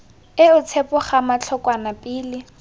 eo tshepo gama thokwana pele